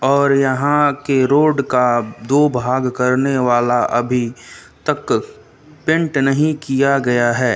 और यहां के रोड का दो भाग करने वाला अभी तक पेंट नहीं किया गया है।